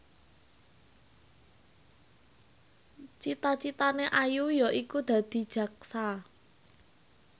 cita citane Ayu yaiku dadi jaksa